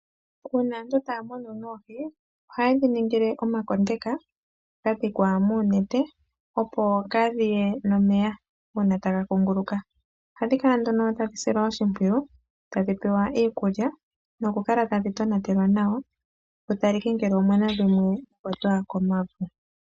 Una aantu taya munu noohi, ohaye dhi ningile omakondeka gadhikwa nonete opo kadhiye nomeya una taga ku nguluka. Ohadhi kala nduno tadhi silwa oshipwiyu, tadhi pewa iikulya noku kala tadhi tonatelwa nawa , kutalikwe ngele omuna dhimwe inadhi pumbiwamo.